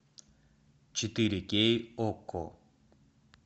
четыре кей окко